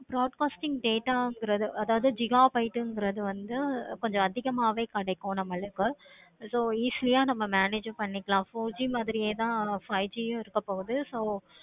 broadcasting data இணைகிறது அதாவது gigabyte இணைகிறது வந்து கொஞ்சம் அதிகமாவே கிடைக்கும். so easy யா நம்ம manage பண்ணிக்கலாம். four G மாதிரி தான் five G இருக்க பொது